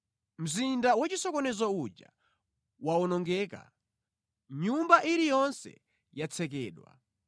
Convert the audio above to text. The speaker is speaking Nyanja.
Mzinda wachisokonezo uja wawonongeka; nyumba iliyonse yatsekedwa.